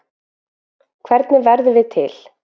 Hvernig verðum við til?